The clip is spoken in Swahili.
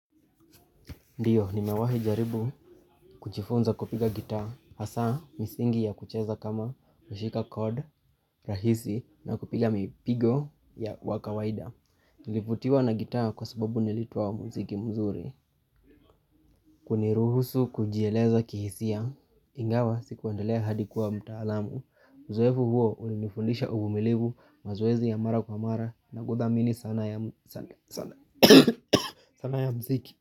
Ndiyo, nimewahi jaribu kujifunza kupiga gitaa, hasa misingi ya kucheza kama nashika kod rahisi na kupiga mipigo wa kawaida. Nilivutiwa na gitaa kwa sababu nilitwa mziki mzuri. Huniruhusu kujieleza kihisia, ingawa sikuandelea hadi kuwa mtaalamu. Uzuefu huo ulinifundisha uvumilivu mazoezi ya mara kwa mara na kuthamini sana sana ya mziki.